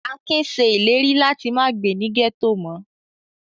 Akin ṣe ìlérí láti má gbé ní gẹ́tò mọ́.